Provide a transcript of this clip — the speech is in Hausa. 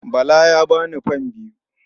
Bala ya ba ni fam biyu.